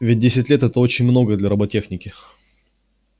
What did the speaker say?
ведь десять лет это очень много для роботехники